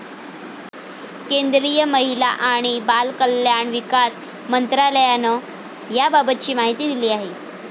केंद्रीय महिला आणि बालकल्याण विकास मंत्रालयानं याबाबतची माहिती दिली आहे.